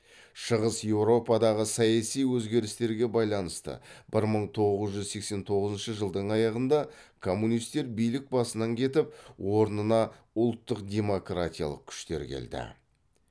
шығыс еуропадағы саяси өзгерістерге байланысты бір мың тоғыз жүз сексен тоғызыншы жылдың аяғында коммунистер билік басынан кетіп орнына ұлттық демократиялық күштер келді